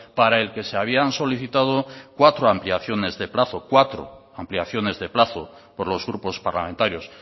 para el que se habían solicitado cuatro ampliaciones de plazo cuatro ampliaciones de plazo por los grupos parlamentarios